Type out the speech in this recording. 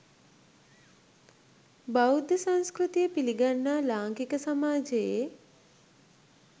බෞද්ධ සංස්කෘතිය පිළිගන්නා ලාංකික සමාජයේ